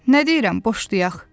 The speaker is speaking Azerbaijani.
Nə deyirəm boşlayaq.